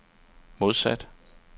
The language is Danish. modsat